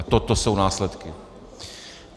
A toto jsou následky!